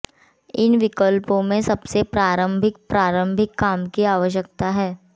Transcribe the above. इन विकल्पों में से सबसे प्रारंभिक प्रारंभिक काम की आवश्यकता है